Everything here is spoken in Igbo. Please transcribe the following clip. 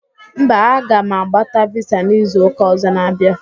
Mba, a ga m agbata visa n'izu ụka ọzọ na-abịa